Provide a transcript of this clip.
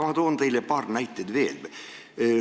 Ma toon teile paar näidet veel.